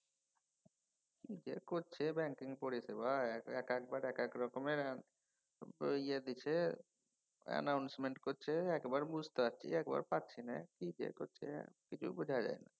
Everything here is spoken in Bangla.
কি যে করছে ব্যাঙ্কিং পরিসেবায় একেকবার একেক রকমের বইয়ে দিছে announcement করছে একবার বুঝতে পারছি একবার পারছি নে। কি যে করছে কিছুই বুঝা যায় না।